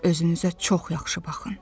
Özünüzə çox yaxşı baxın.”